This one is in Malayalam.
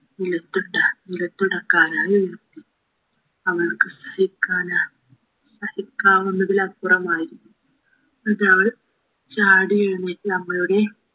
നിലത്തിട്ട നിലത്തുണ്ടാക്കാനായി എടുത്തു അവൾക് സഹിക്കാനാ സഹിക്കാവുന്നതിലപ്പുറമായി ഇതവള് ചാടിയെഴുന്നേറ്റ് അമ്മയുടെ